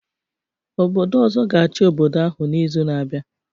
Obodo ọzọ ga-achị obodo ahụ n'izu na-abịa